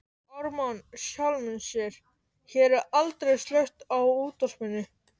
Ármann sjálfum sér,- hér er aldrei slökkt á útvarpinu.